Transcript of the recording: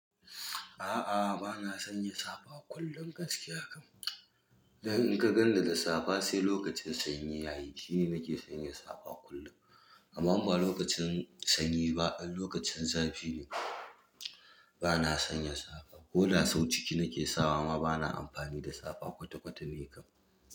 A'a, bana sanya safa kullum gaskiya. Don in ka ganni da da safa sai lokacin sanyi yayi shine nake sanya safa kullum. Amma ba lokacin sanyi ba, lokacin zafi ne bana sanya safa. Koda sau ciki nake sakawa ma bana amfani da safa kwata-kwata nikam.